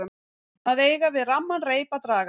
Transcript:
Að eiga við ramman reip að draga